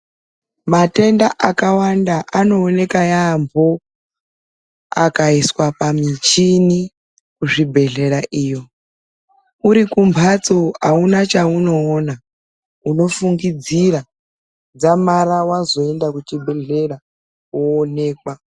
Matenda akawanda anooneka yaambo akaiswa pamichini kuzvibhedhlera iyo. Uri kumwatso hauna chaunoona unofungidzira dzamara vazoenda kuchibhedhlera koonekwa.